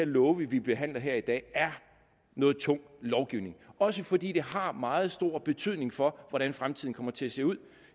love vi behandler her i dag er noget tung lovgivning også fordi det har meget stor betydning for hvordan fremtiden kommer til at se ud